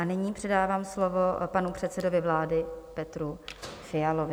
A nyní předávám slovo panu předsedovi vlády Petru Fialovi.